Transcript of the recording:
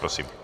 Prosím.